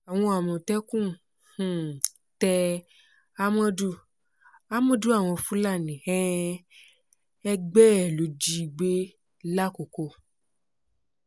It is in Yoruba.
owó àmọ̀tẹ́kùn um tẹ àmọ̀dù àmọ̀dù àwọn fúlàní um ẹgbẹ́ ẹ̀ ló ji gbé làkòókò